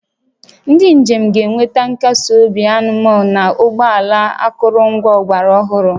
Ndị njem ga-enweta nkasi obi anmol na ụgbọ ala akụrụngwa ọgbara ọhụrụ